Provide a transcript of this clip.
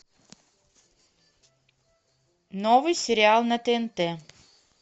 новый сериал на тнт